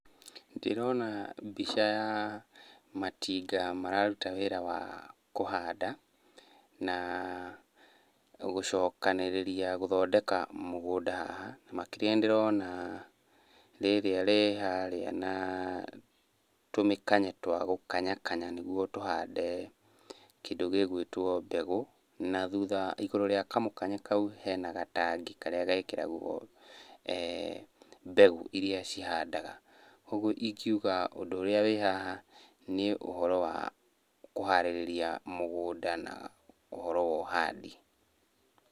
Ndĩrona mbica ya matinga mararuta wĩra wa kũhanda na gũcokanĩrĩria gũthondeka mũgũnda haha. Makĩria nĩ ndĩrona rĩrĩa rĩ harĩa na tũmĩkanye twa gũkanyakanya nĩguo tũhande kĩndũ gĩgwĩtwo mbegũ na thutha igũrũ rĩa kamũkanye kau hena gatangi karĩa gekĩragwo mbegũ niria cihndaga. ũguo ingiuga ũndũ ũrĩa wĩ haha nĩ ũhoro wa kũharĩrĩria mũgũnda na ũhoro wa ũhandi.